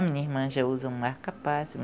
A minha irmã já usa um marca-passo